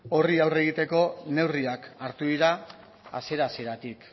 horri aurre egiteko neurriak hartu dira hasiera hasieratik